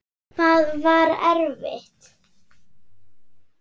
Hvað var erfitt?